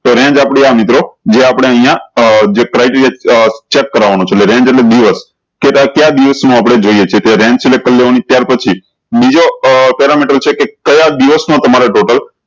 તો range આપળે આ મિત્રો જે આપળે અયીયા આ જે criteria check કરવાનું છે એટલે range એટલે કે ક્યાય દિવસ નું આપળે જોયીયે છે તો range કરી લેવાનું ત્યાર પછી બીજો parametre છે કે કયા દિવસ મા તમારે total